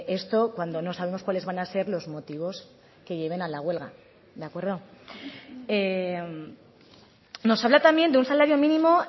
esto cuando no sabemos cuáles van a ser los motivos que lleven a la huelga de acuerdo nos habla también de un salario mínimo